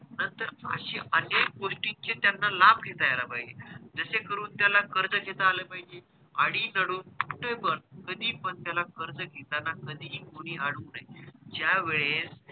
तर अशे अनेक गोष्टींचे त्याना लाभ घेता येयला पाहिजे जशे करून त्याला कर्ज घेता आलं पाहिजे आणि कुठे पण कधी पण कर्ज घेताना कधीही कोणी अडवू नये ज्या वेळेस